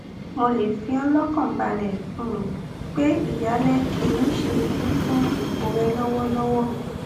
mo le fi ọ lọkàn balẹ um pé ìyálẹ kì í ṣe idi fún ipò rẹ lọwọlọwọ